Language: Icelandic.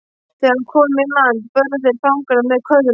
Þegar komið var í land börðu þeir fangana með köðlum.